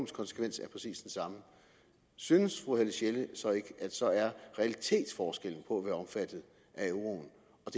konsekvens er præcis den samme synes fru helle sjelle så ikke at så er realitetsforskellen på at være omfattet af euroen